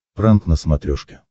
пранк на смотрешке